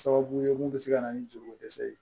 Sababu ye mun bɛ se ka na ni joliko dɛsɛ ye